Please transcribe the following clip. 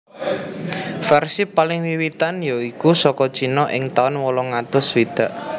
Versi paling wiwitan ya iku saka Cina ing taun wolung atus swidak